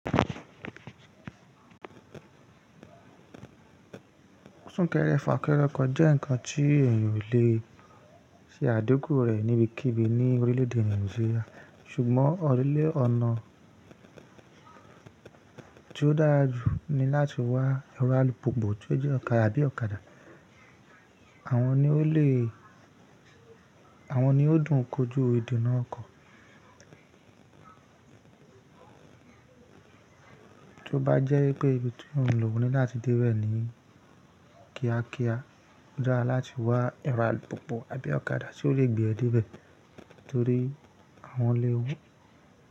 Súnkẹrẹ fàkẹrẹ okọ jẹ́ nǹkan tí èèyàn ò le ṣe àdeku rẹ̀ níbikíbi ní orílè-èdè Nàìjíríà. Ṣùgbọ́n orílè-ọ̀nà tí ó dára jù ni láti wá ẹrọ alùpùpù tí ó jẹ́ ọ̀kadà àbí ọ̀kadà. Àwọn ni ó lè, àwọn ni ó dùn kojú èdè náà kọ. Tí ó bá jẹ́ pé ibi tí ò ń lò o ní láti dé bẹ̀ ni kíákíá, ó dára láti wá ẹrọ alùpùpù àbí ọ̀kadà tí ó lè gbé ẹ dé bẹ̀ torí àwọn.